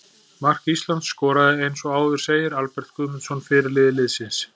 Mark Ísland skoraði eins og áður segir Albert Guðmundsson, fyrirliði liðsins.